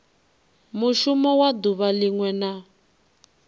mushumo wa duvha linwe na